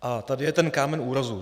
A tady je ten kámen úrazu.